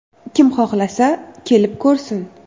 Kim xohlasa, kelib ko‘rsin.